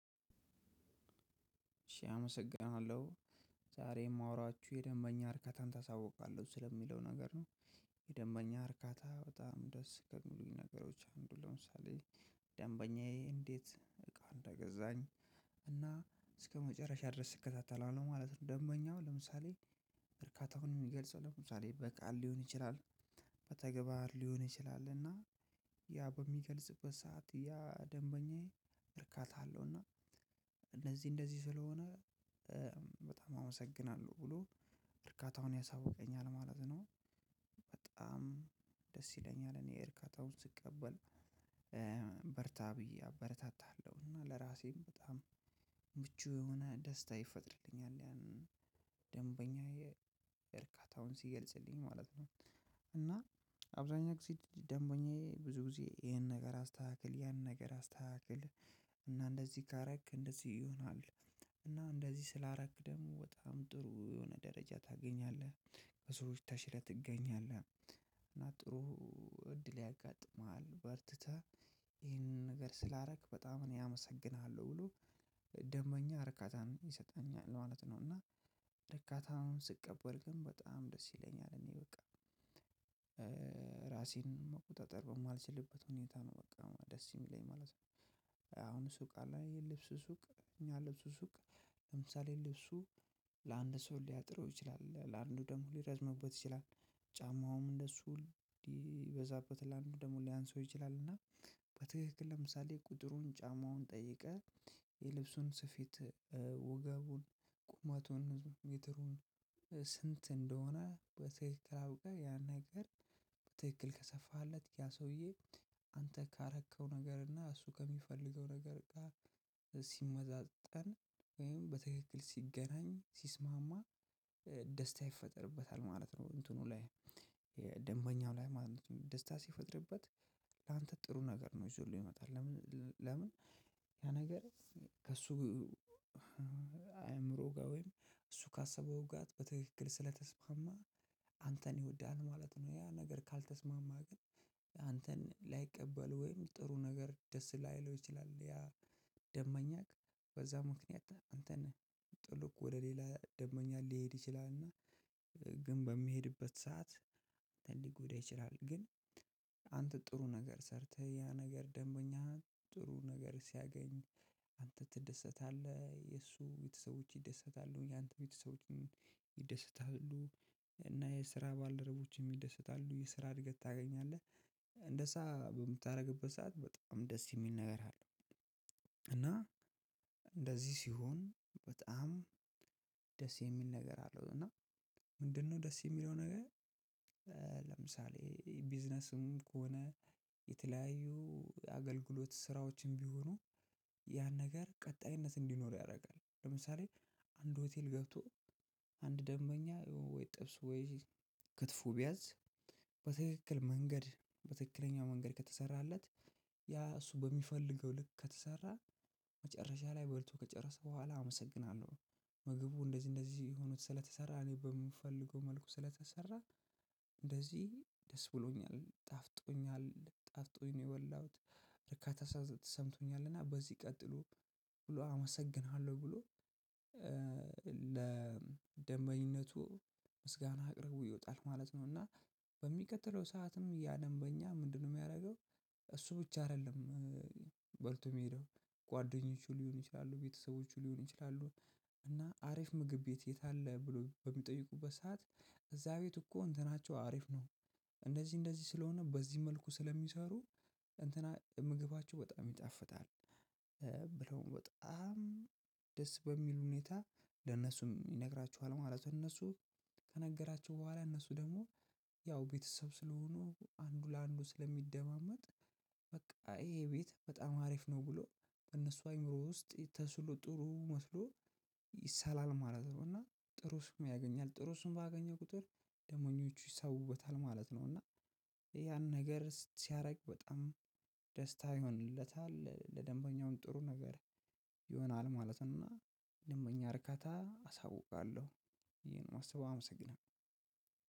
እሺ አመሰግንሃለሁ ዛሬ እማወራችሁ የደንበኛ እርከታን ታሳውቃለሁ ስለሚለው ነገር ነው። የደንበኛ እርካታ በጣም ደስ ከሚሉኝ ነገሮች አንዱ ለምሳሌ ደንበኛዬ እንዴት እቃ እንደገዛኝ? እና እስከመጨረሻ ድረስ እከታተላለሁ ማለት ነው። ደንበኛው ለምሳሌ እርካታውን እሚገልጸው ለምሳሌ በቃል ሊሆን ይችላል። በተግባር ሊሆን ይችላል እና ያ በሚገልጽበት ሰዓት ያ ደንበኛዬ እርካታ አለው። እና እነዚህ እንደዚህ ስለሆነ በጣም አመሰግናለሁ ብሎ እርካታውን ያሳውቀኛል ማለት ነው። በጣም ደስ ይለኛል እኔ እርካታውን ስቀበል። በርታ ብዬ አበረታታለሁ እና ለራሴም በጣም ምቹ የሆነ ደስታ ይፈጥርልኛል። ያንን ደንበኛዬ እርካታውን ሲገልጽልኝ ማለት ነው። እና አብዛኛው ጊዜ ደንበኛዬ ብዙ ጊዜ ይሄን ነገር አስተካክል ያንን ነገር አስተካክል። እና እንደዚህ ካረክ እንደዚህ ይሆናል። እና እንደዚህ ስላረክ ደግሞ በጣም ጥሩ የሆነ ደረጃ ታገኛለህ ከሰዎች ተሽለህ ትገኛለህ። እና ጥሩ እድል ያጋጥምሃል በርትተህ ይህንን ነገር ስላረክ በጣም እኔ አመሰግንሃለሁ ብሎ ደንበኛ ርካታን ይሰጠኛል ማለት ነው። እና ደርካታውን ስቀበል ግን በጣም ደስ ይለኛል እኔ በቃ ራሴን መቆጣጠር በማልችልበት ሁኔታ ነው በቃ ደስ እሚለኝ ማለት ነው። አሁን ሱቅ አለ የልብስ ሱቅ እኛ ልብሱ ሱቅ ለምሳሌ ልብሱ ለአንድ ሰው ሊያጠረው ይችላል ለእንዱ ደሞ ሊረዝምበት ይችላል። ጫማውም እደሱ ልበዛበት ለ አንዱ ደሞ ሊያንሰው ይችላል እና በትክክል ለምሳሌ ቁጥሩን ጫማውን ጠይቀህ የልብሱን ስፊት ወገቡን ቁመቱን ሜትሩን ስንት እንደሆነ በትክክል አውቀህ ያን ነገር? በትክክል ከሰፋለት ያ ሰውዬ አንተ ካረከው ነገር እና እሱ ከሚፈልገው ነገር ጋር ሲመዛጠን ወይም በትክክል ሲገናኝ ሲስማማ ደስታ ይፈጠርበታል ማለት ነው። እንትኑ ላይ ደንበኛው ላይ ማለት ነው ደስታ ሲፈጥርበት ላንተ ጥሩ ነገር ነው እዞልህ ይመጣል። ለምን? ያ ነገር ከእሱ አእምሮ ጋር ወይም እሱ ካሰበው ጋ በትክክል ስለተስማማ አንተን ይወዳል ማለት ነው። ያ ነገር ካልተስማማ ግን አንተን ላይቀበል ወይም ጥሩ ነገር ደስ ላይለው ይችላል። ያ ደበኛክ በዛ ምክንያት አንተን ጥሎቅ ወደ ሌላ ደበኛ ሊሄድ ይችላልና። ግን በሚሄድበት ሰዓት ሊጎዳ ይችላል። ግን አንተ ጥሩ ነገር ሰርተህ ያ ነገር ደንበኛ ጥሩ ነገር ሲያገኝ አንተ ትደሰታለህ የእሱ ቤተሰቦች ይደሰታሉ እኛ አንተ ቤተሰቦች ይደሰታሉ እና የስራ ባልደረቦችህም ይደሰታሉ የስራ እድገት ታገኛለህ። በምታረግበት ሰዓት በጣም ደስ እሚል ነገር እና እንደዚህ ሲሆን በጣም ደስ እሚል ነገር አለው። እና ምንድነው ደስ እሚለው ነገር? ለምሳሌ ቢዝነስም ከሆነ የተለያዩ አገልግሎት ስራዎችም ቢሆኑ ያን ነገር ቀጣይነት እንዲኖር ያደርጋል። ለምሳሌ አንድ ሆቴል ገብቶ አንድ ደንበኛ ወይ ጥብስ ወይ ክትፎ ቢያዝ በትክክል መንገድ በትክክለኛው መንገድ ከተሰራለት ያ እሱ በሚፈልገው ልክ ከተሰራ። መጨረሻ ላይ በልቶ ከጨረሰ በኋላ አመሰግናለሁ ምግቡ እንደዚህ እንደዚህ ሆኖ ስለተሰራ እኔ በምፈልገው መልኩ ስለተሰራ እንደዚህ ደስ ብሎኛል ጣፍጦኛል ጣፍጦኝ ነው የበላሁት። ርካታ ተሰምቶኛልና በዚህ ቀጥሎ ብሎ አመሰግንሃለሁ ብሎ ለደሸኝነቱ ምስጋና አቅርቦ ይወጣል ማለት ነው። እና በሚቀጥለው ሰዓትም ያ ደንበኛ ምንድነው እሚያደርገው? እሱ ብቻ አይደለም። በልቶ እሚሄደው ጓደኞቹ ሊሆን ይችላሉ ቤተሰቦቹ ሊሆን ይችላሉ። እና አሪፍ ምግብ ቤት የት አለ ብሎ በሚጠይቁበት ሰዓት? እዛ ቤት እኮ እንትናቸው አሪፍ ነው። እንደዚህ እንደዚህ ስለሆነ በዚህ መልኩ ስለሚሰሩ እንትና ምግባቸው በጣም ይጣፍጣል። ብለው በጣም ደስ በሚሉ ሁኔታ ለነሱም ይነግራችኋል ማለት ነው። እነሱ ከነገራችሁ በኋላ እነሱ ደሞ ያው ቤተሰብ ስለሆኑ አንዱ ለአንዱ ስለሚደማመጥ በቃ ይሄ ቤት በጣም አሪፍ ነው። ብሎ እነሱ አእምሮ ውስጥ ተስሎ ጥሩ መስሎ ይሳላል ማለት ነው። እና ጥሩ ስም ያገኛል ጥሩ ስም ባገኘ ቁጥር ደንበኞቹ ይሳቡበታል ማለት ነው። እና ያን ነገር ሲያረግ በጣም ደስታ ይሆንለታል ለደንበኛው ጥሩ ነገር ይሆናል ማለት ነው። እና ደንበኛ እርካታ አሳውቃለሁ ይሄን ማሰብ አመሰግናለሁ።